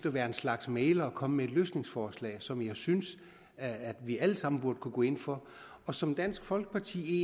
at være en slags mægler og komme med et løsningsforslag som jeg synes at vi alle sammen burde kunne gå ind for og som dansk folkeparti